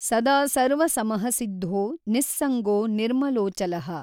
ಸದಾ ಸರ್ವಸಮಃ ಸಿದ್ಧೋ ನಿಃಸಂಗೋ ನಿರ್ಮಲೋಽಚಲಃ।